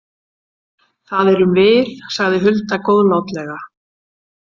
Það erum við, sagði Hulda góðlátlega.